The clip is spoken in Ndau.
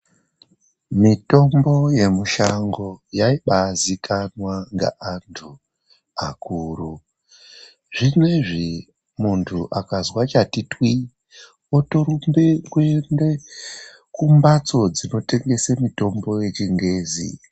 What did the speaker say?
Mitombo yemushango yaibaazikanwa ngeantu akuru. Zvinoizvi munhu akazwa chatitwii otorumba kuende kumhatso dzinotengese mitombo dzechingezi.